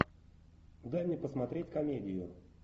дай мне посмотреть комедию